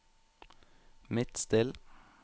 Midtstill